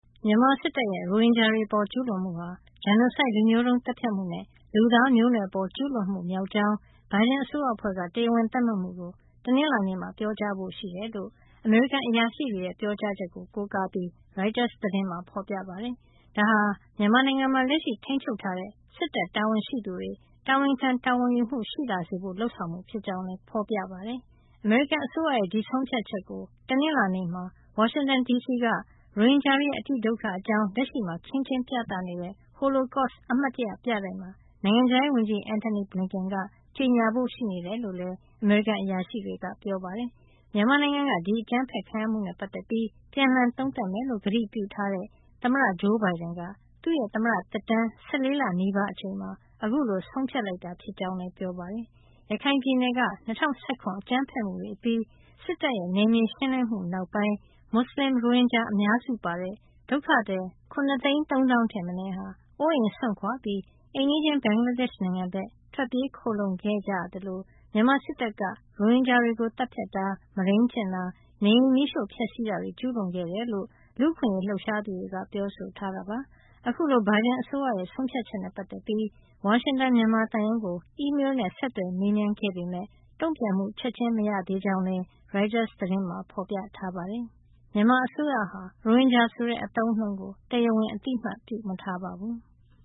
မြန်မာစစ်တပ်ရဲ့ ရိုဟင်ဂျာတွေအပေါ် ကျူးလွန်မှုဟာ genocide လူမျိုးတုံးသတ်ဖြတ်မှုနဲ့ လူသားမျိုးနွယ်အပေါ် ကျူးလွန်မှုမြောက်ကြောင်း ဘိုင်ဒန်အစိုးရအဖွဲ့က တရားဝင်သတ်မှတ်မှုကို တနင်္လာနေ့မှာ ပြောကြားဖို့ရှိတယ်လို့ အမေရိကန်အရာရှိတွေရဲ့ ပြောကြားချက်ကို ကိုးကားပြီး ရိုက်တာသတင်းမှာ ဖော်ပြပါတယ်။ ဒါဟာ မြန်မာနိုင်ငံမှာ လက်ရှိထိန်းချုပ်ထားတဲ့ စစ်တပ်တာဝန်ရှိသူတွေ တာဝန်ခံ တာဝန်ယူမှု ရှိလာစေဖို့ လုပ်ဆောင်မှု ဖြစ်ကြောင်းလည်း ဖော်ပြပါတယ်။ အမေရိကန်အစိုးရရဲ့ ဒီဆုံးဖြတ်ချက်ကို တနင်္လာနေ့မှာ ဝါရှင်တန်ဒီစီက ရိုဟင်ဂျာတွေရဲ့ အတိဒုက္ခအကြောင်း လက်ရှိမှာ ခင်းကျင်းပြသနေတဲ့ Holocaust အမှတ်တရ ပြတိုက်မှာ နိုင်ငံခြားရေးဝန်ကြီး Antony Blinken က ကြေညာဖို့ ရှိနေတယ်လို့လည်း အမေရိကန် အရာရှိတွေက ပြောပါတယ်။ မြန်မာနိုင်ငံက ဒီအကြမ်းဖက်ခံရမှုနဲ့ ပတ်သက်ပြီး ပြန်လှန်သုံးသပ်မယ်လို့ ကတိပြုထားတဲ့ သမ္မတ ဂျိုးဘိုင်ဒန်က သူ့ရဲ့ သမ္မတသက်တမ်း ၁၄ လနီးပါးအချိန်မှာ ခုလို ဆုံးဖြတ်လိုက်တာ ဖြစ်ကြောင်းလည်း ပြောပါတယ်။ ရခိုင်ပြည်နယ်က ၂၀၁၇ အကြမ်းဖက်မှုတွေအပြီး စစ်တပ်ရဲ့ နယ်မြေရှင်းလင်းမှု နောက်ပိုင်း မွတ်စလင် ရိုဟင်ဂျာ အများစုပါတဲ့ ဒုက္ခသည် ၇၃၀,၀၀၀ ထက်မနည်းဟာ အိုးအိမ်စွန့်ခွါပြီး အိမ်နီးချင်း ဘင်္ဂလားဒေ့ရှ်နိုင်ငံဘက် ထွက်ပြေးခိုလှုံခဲ့ကြရသလို မြန်မာစစ်တပ်ဟာ ရိုဟင်ဂျာတွေကို သတ်ဖြတ်တာ၊ မုဒိမ်းကျင့်တာ၊ နေအိမ်မီးရှို့ဖျက်ဆီးတာတွေ ကျူးလွန်ခဲ့တယ်လို့ လူ့အခွင့်အရေး လှုပ်ရှားသူတွေက ပြောဆိုထားတာပါ။ အခုလို ဘိုင်ဒန်အစိုးရရဲ့ ဆုံးဖြတ်ချက်နဲ့ ပတ်သက်ပြီး ဝါရှင်တန် မြန်မာသံရုံးကို အီးမေးလ်နဲ့ ဆက်သွယ်မေးမြန်းခဲ့ပေမယ့် တုံ့ပြန်မှု ချက်ချင်းမရသေးကြောင်းလည်း ရိုက်တာသတင်းမှာ ဖော်ပြထားပါတယ်။ မြန်မာအစိုးရဟာ ရိုဟင်ဂျာဆိုတဲ့ အသုံးအနှုန်းကို တရားဝင် အသိအမှတ်ပြုမထားပါဘူး။